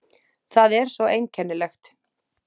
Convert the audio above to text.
Það er svo einkennilegt.